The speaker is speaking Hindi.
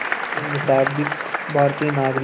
के मुताबिक़ भारतीय नागरिक